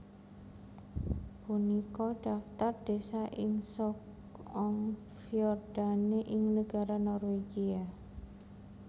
Punika dhaftar désa ing Sogn og Fjordane ing negara Norwegia